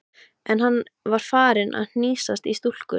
En hann var farinn að hnýsast í stúlkur.